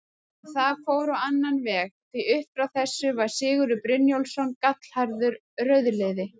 En það fór á annan veg, því upp frá þessu var Sigurður Brynjólfsson gallharður rauðliði.